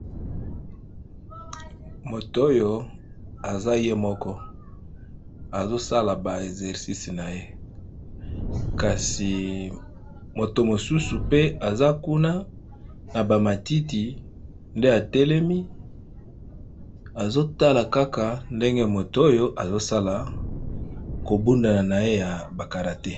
Moto oyo aza ye moko, azosala ba exercisi na ye. Kasi moto mosusu pe aza kuna na bamatiti, nde atelemi azotala kaka ndenge moto oyo azosala kobundana na ye ya bakalate